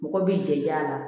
Mɔgɔ b'i jɛ a la